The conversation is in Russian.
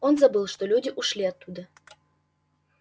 он забыл что люди ушли оттуда